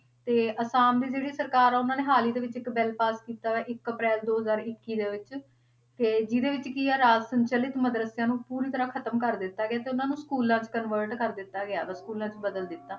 ਤੇ ਆਸਾਮ ਦੀ ਜਿਹੜੀ ਸਰਕਾਰ ਆ, ਉਹਨਾਂ ਨੇ ਹਾਲ ਹੀ ਦੇ ਵਿੱਚ ਇੱਕ ਬਿੱਲ ਪਾਸ ਕੀਤਾ ਵਾ, ਇੱਕ ਅਪ੍ਰੈਲ ਦੋ ਹਜ਼ਾਰ ਇੱਕੀ ਦੇ ਵਿੱਚ ਤੇ ਜਿਹਦੇ ਵਿੱਚ ਕੀ ਆ, ਰਾਜ ਸੰਚਲਿਤ ਮਦਰੱਸਿਆਂ ਨੂੰ ਪੂਰੀ ਤਰ੍ਹਾਂ ਖ਼ਤਮ ਕਰ ਦਿੱਤਾ ਗਿਆ ਤੇ ਉਹਨਾਂ ਨੂੰ schools 'ਚ convert ਕਰ ਦਿੱਤਾ ਗਿਆ schools 'ਚ ਬਦਲ ਦਿੱਤਾ।